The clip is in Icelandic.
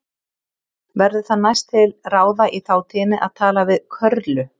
Verður það næst til ráða í þátíðinni að tala við Körlu.